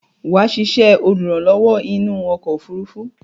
Wà á sisẹ́ olùrànlówó inú okò òfurufú